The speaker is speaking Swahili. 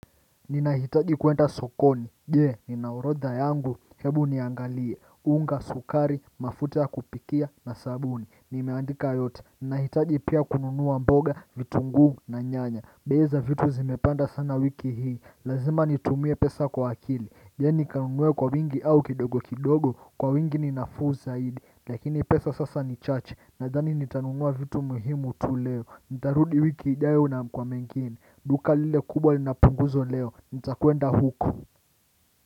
Ninahitaji kuenda sokoni je? Nina orodha yangu hebu niangalie unga, sukari, mafuta ya kupikia na sabuni Nimeandika yote Ninahitaji pia kununua mboga, vitunguu na nyanya bei za vitu zimepanda sana wiki hii Lazima nitumie pesa kwa akili je? Ni kanunue kwa wingi au kidogo kidogo kwa wingi ni nafuu zaidi Lakini pesa sasa ni chache Nadhani nitanunua vitu muhimu tu leo Nitarudi wiki ijayo na kwa mengine duka lile kubwa lina punguzo leo, nita kwenda huko.